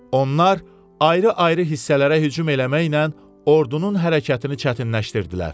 Onlar ayrı-ayrı hissələrə hücum eləməklə ordunun hərəkətini çətinləşdirdilər.